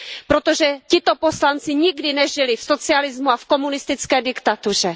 Protože tito poslanci nikdy nežili v socialismu a v komunistické diktatuře.